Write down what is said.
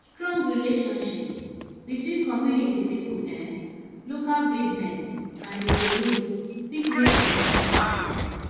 strong relationship between community pipo um local business and di police fit make community safe